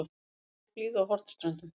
Bongóblíða á Hornströndum.